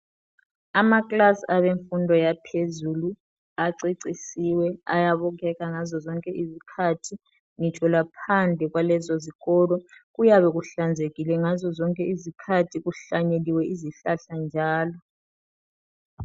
Amakilasi abemfundo yaphezulu acecisiwe, ayabukeka ngazo zonke izikhathi. Ngitsho laphandle kwalezo ezikolo kuyabe kuhlanzekile ngazo zonke izikhathi, kuhlanyeliwe izihlahla njalo.